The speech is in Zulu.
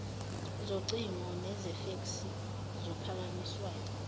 zocingo nezefeksi zophakanyiswayo